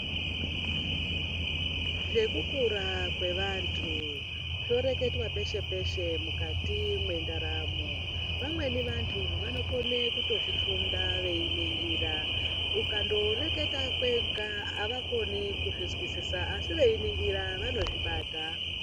Vekukura kwevantu zvoreketwa peshe-peshe mukati mwendaramo, vamweni vantu vanokone kutozvifunda veyingira, ukandotoreketa kwega avakoni kuzvizwisisa, asi veyiningira vanozvibata.